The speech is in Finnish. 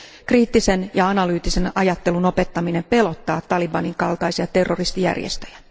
Kriittisen ja analyyttisen ajattelun opettaminen pelottaa talibanin kaltaisia terroristijärjestöjä.